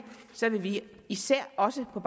vil vi især også på